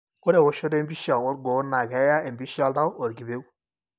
ore eoshoto empicha olgoo na keyaa empisha oltau olkipeu.